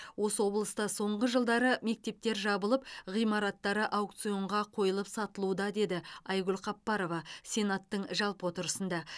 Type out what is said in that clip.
осы облыста соңғы жылдары мектептер жабылып ғимараттары аукционға қойылып сатылуда деді айгүл қапбарова сенаттың жалпы отырысында